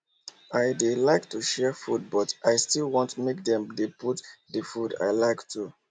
i dey like to share food but i still want make dem dey put d food i like too